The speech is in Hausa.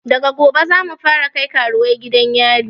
Daga gobe zamu fara kai karuwai gidan yari